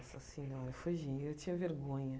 Nossa senhora fugia, eu tinha vergonha.